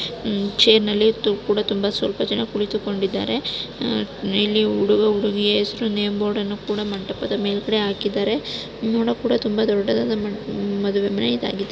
ಚೈರ್ನಲ್ಲಿ ತುಂಬಾ ಸ್ವಲ್ಪ ಜನ ಕುಳಿತುಕೊಂಡಿದ್ದಾರೆ ಇಲ್ಲಿ ಹುಡುಗ-ಹುಡುಗಿಯ ಹೆಸರು ನೇಮ್ ಬೋರ್ಡ್ ನ್ನು ಕೂಡ ಮಂಟಪದ ಮೇಲ್ಭಾಗದಲ್ಲಿ ಹಾಕಿದ್ದಾರೆ. ನೋಡೋಕ್ ಕೂಡ ತುಂಬಾ ದೊಡ್ಡದಾದ ಮದುವೆ ಮನೆ ಇದಾಗಿದೆ.